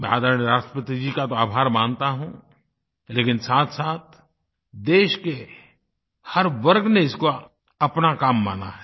मैं आदरणीय राष्ट्रपति जी का तो आभार मानता हूँ लेकिन साथसाथ देश के हर वर्ग ने इसको अपना काम माना है